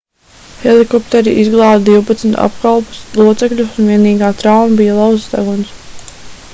helikopteri izglāba divpadsmit apkalpes locekļus un vienīgā trauma bija lauzts deguns